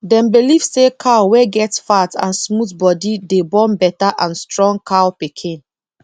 dem believe say cow wey get fat and smooth body dey born better and strong cow pikin